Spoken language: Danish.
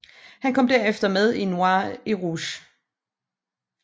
Han kom derefter med i Noir et Rouge